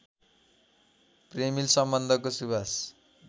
प्रेमिल सम्बन्धको सुवास